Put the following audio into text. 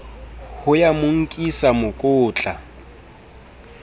ho ya mo nkisa mokotla